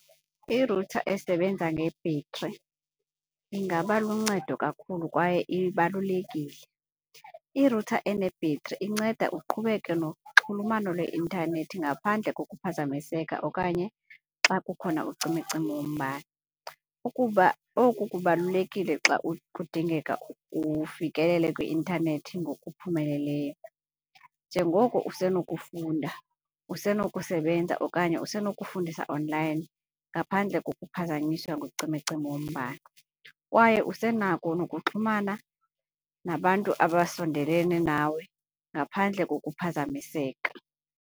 Irutha esebenza ngebhetri ingaba luncedo kakhulu kwaye ibalulekile. Irutha enebhetri inceda uqhubeke noxhulumano lweintanethi ngaphandle kokuphazamiseka okanye xa kukhona ucimicimi wombane. Ukuba oku kubalulekile xa kudingeka ufikelele kwi-intanethi ngokuphumeleleyo njengoko usenokufunda, usenokusebenza okanye usenokufundisa online ngaphandle kokuphazanyiswa ngucimicimi wombane. Kwaye usenako nokuxhumana nabantu abasondelene nawe ngaphandle kokuphazamiseka.